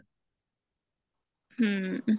ਹਮ